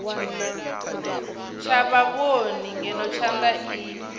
tsha vhavhoni ngeno thanda i